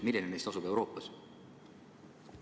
Milline neist asub Euroopas?